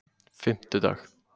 fimmtudag